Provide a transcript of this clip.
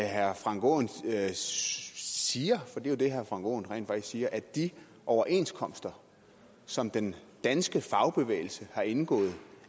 herre frank aaen siger for det er jo det herre frank aaen rent faktisk siger at de overenskomster som den danske fagbevægelse har indgået og